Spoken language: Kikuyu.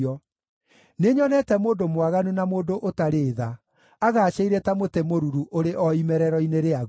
Nĩnyonete mũndũ mwaganu na mũndũ ũtarĩ tha agaacĩire ta mũtĩ mũruru ũrĩ o imerero-inĩ rĩaguo,